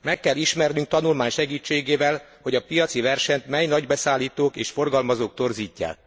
Meg kell ismernünk tanulmány segítségével, hogy a piaci versenyt mely nagy beszállítók és forgalmazók torzítják.